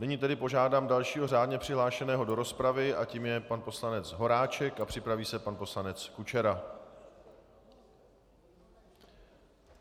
Nyní tedy požádám dalšího řádně přihlášeného do rozpravy a tím je pan poslanec Horáček a připraví se pan poslanec Kučera.